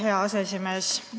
Hea aseesimees!